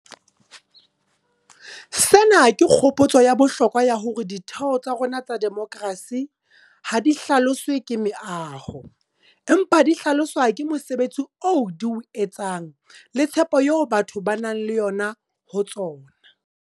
Sena ke kgopotso ya bohlokwa ya hore ditheo tsa rona tsa demokerasi ha di hlaloswe ke meaho, empa di hlaloswa ke mosebetsi oo di o etsang le tshepo eo batho ba nang le yona ho tsona.